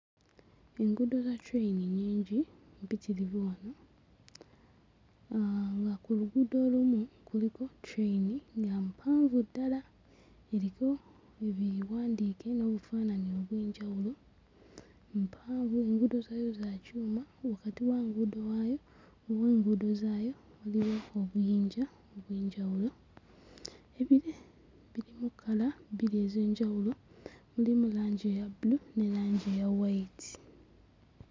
Enguudo za train nnyingi mpitirivu wano uh nga ku luguudo olumu kuliko train nga mpanvu ddala eriko ebiwandiike n'obufaananyi obw'enjawulo. Mpanvu, enguudo zaayo za kyuma wakati w'enguudo waayo oba enguudo zaayo waliwo obuyinja obw'enjawulo. Ebire birimu kkala bbiri ez'enjawulo mulimu langi eya bbulu ne langi eya wayiti.